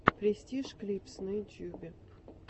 престиж клипс на ютьюбе